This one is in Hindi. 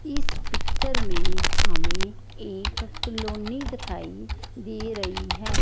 इस पिक्चर में हमें एक कलोनी दिखाई दे रही है।